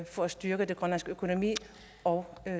for at styrke den grønlandske økonomi og